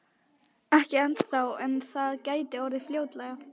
Ekki ennþá en það gæti orðið fljótlega.